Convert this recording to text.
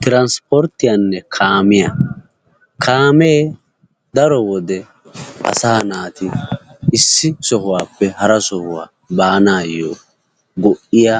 Tiransporttiyaanne kaamiya ha asati cadiidi de'iyo koyro tokketidaagee de'iyo koyro go'iya